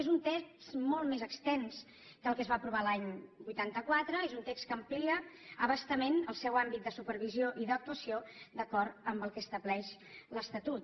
és un text molt més extens que el que es va aprovar l’any vuitanta quatre és un text que amplia a bastament el seu àmbit de supervisió i d’actuació d’acord amb el que estableix l’estatut